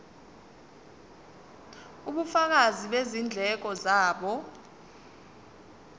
ubufakazi bezindleko zabo